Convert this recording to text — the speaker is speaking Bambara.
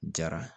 Jara